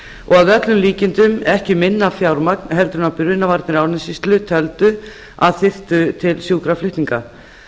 og að öllum líkindum ekki minna fjármagn en brunavarnir árnessýslu töldu að þyrfti til sjúkraflutninga